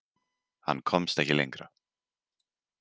Hann komst ekki lengra.